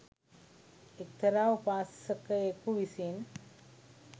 එක්තරා උපාසකයෙකු විසින්